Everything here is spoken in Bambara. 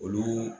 Olu